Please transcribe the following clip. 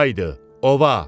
Haydı, ova!